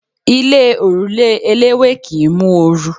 Ilé òrùlé eléwé kì ń mú oru.